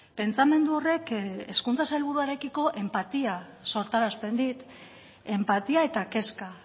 pentsamendu horrek hezkuntza sailburuarekiko enpatia sortarazten dit enpatia eta kezka